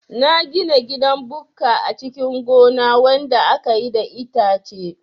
Na gina gidan bukka a cikin gona wanda akayi da itace